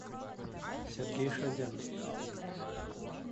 сергей шадян